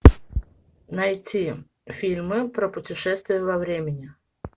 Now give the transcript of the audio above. найти фильмы про путешествия во времени